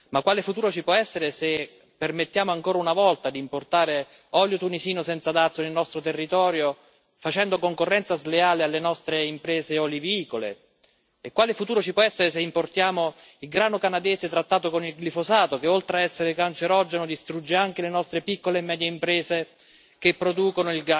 Ma quale futuro ci può essere se permettiamo ancora una volta di importare olio tunisino senza dazi nel nostro territorio, facendo concorrenza sleale alle nostre imprese olivicole? Quale futuro ci può essere se importiamo il grano canadese trattato con il glifosato che, oltre a essere cancerogeno, distrugge anche le nostre piccole e medie imprese che producono